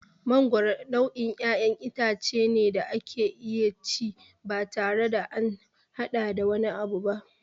Mangoro nau'in ƴaƴan itace ne da ake iya ci batare da an haɗa da wani abu ba.